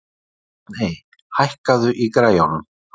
Stjarney, hækkaðu í græjunum.